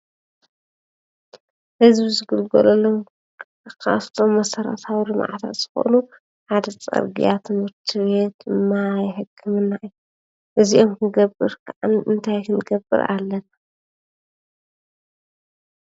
ህዝቢ ዝግልገለሎም ካፍቶም መሰራተዊ ልምዓታት ዝኾኑ ሓደ ፅርግያ ፣ትምህርቲ ቤት፣ ማይ ፣ሕክምና እዩ፡፡ እዚኦም ክንገብር ከዓ እንታይ ክንገብር ኣለና?